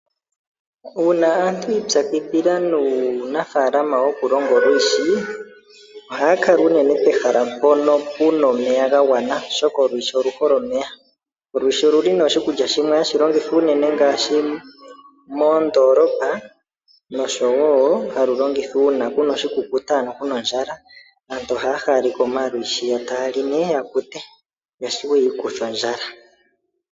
Uuna aantu yi ipyakidhila nuu nafaalama woku longa olwiishi . Ohaya kala unene pohala mpono puna omeya ga gwana oshoka olwiishi oluhole omeya . Olwiishi oluli oshi kulya shimwe hashi longithwa unene ngaashi moondolopa noshowo halu longithwa uuna kuna oshi kukuta ano kuna ondjala aantu ohaya haalekwa omalwiishi yo yaali nee yakute noshowo yiikuthe ondjala.